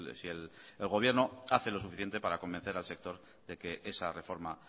si el gobierno hace lo suficiente para convencer al sector de que esa reforma